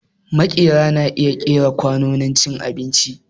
Maƙera na iya ƙera kwanon cin abinci